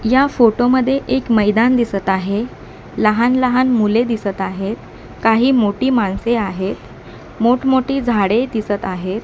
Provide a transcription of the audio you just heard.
या फोटोमध्ये एक मैदान दिसत आहे लहान लहान मुले दिसत आहेत काही मोठी माणसे आहेत मोठ मोठी झाडे दिसत आहेत.